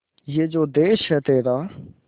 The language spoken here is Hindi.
ये जो देस है तेरा